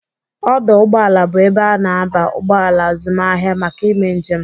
Ọdọ ụgbọala bụ ebe a na-aba ụgbọala azụmaahịa maka ime njem..